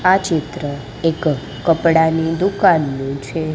આ ચિત્ર એક કપડાની દુકાનનું છે.